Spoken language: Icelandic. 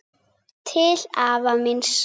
Til afa míns.